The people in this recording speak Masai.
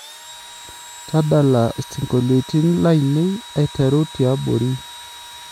tadala siongoiliotin lainei aiteru tiabori